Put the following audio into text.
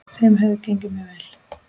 Þeim hefur gengið mjög vel.